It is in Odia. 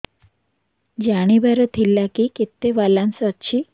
ଜାଣିବାର ଥିଲା କି କେତେ ବାଲାନ୍ସ ଅଛି